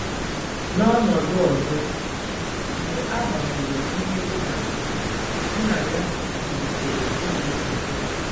N'ọnọdụ ọzọ, mgbe a gbagburu nne ụgbala, nna ya zụlitere ụmụntakịrị